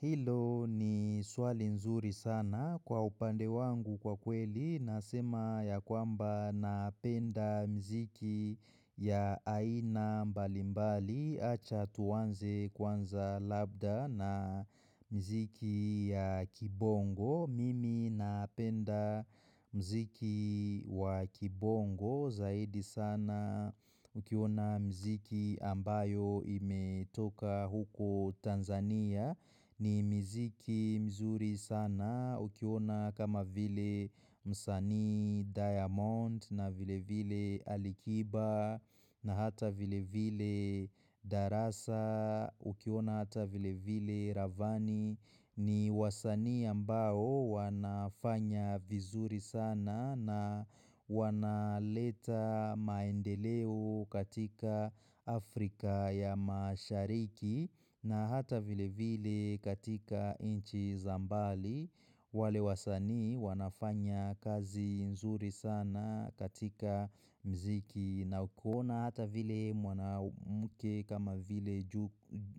Hilo ni swali nzuri sana, kwa upande wangu kwa kweli nasema ya kwamba napenda miziki ya aina mbalimbali, acha tuanze kwanza labda na miziki ya kibongo. Mimi napenda muziki wakibongo zaidi sana ukiona miziki ambayo imetoka huko Tanzania, ni miziki mizuri sana, ukiona kama vile msanii diamond na vile vile alikiba na hata vile vile darasa ukiwona hata vile vile ravani ni wasanii ambao wanafanya vizuri sana na wanaleta maendeleo katika Afrika ya mashariki na hata vile vile katika inchi za mbali wale wasanii wanafanya kazi nzuri sana katika mziki na ukiona hata vile mwanamke kama vile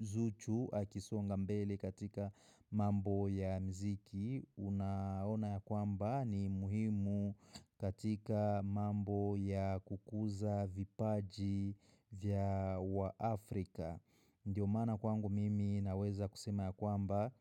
zuchu akisonga mbele katika mambo ya muziki, Unaona ya kwamba ni muhimu katika mambo ya kukuza vipaji vya wa Africa Ndiyo maana kwangu mimi naweza kusema ya kwamba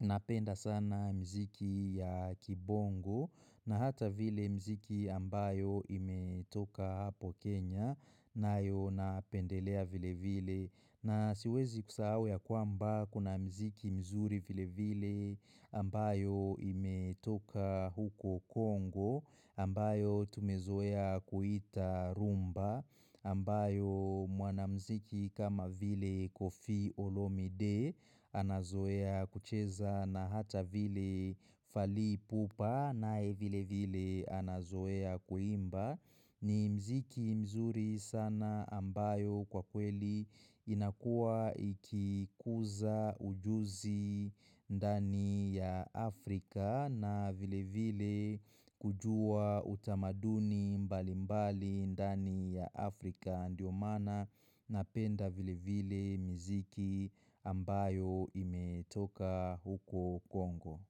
napenda sana miziki ya kibongo na hata vile miziki ambayo imetoka hapo Kenya nayo napendelea vile vile. Na siwezi kusahau ya kwamba kuna miziki mizuri vile vile ambayo imetoka huko Congo, ambayo tumezoea kuita rumba, ambayo mwanamuziki kama vile kofi olomide, anazoea kucheza, na hata vile fali pupa nae vile vile anazoea kuimba. Ni miziki mizuri sana ambayo kwa kweli inakua ikikuza ujuzi ndani ya Africa na vile vile kujua utamaduni mbali mbali ndani ya Africa, ndiyo maana napenda vile vile miziki ambayo imetoka huko Congo.